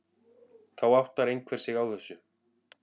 Þá áttar einhver sig á þessu.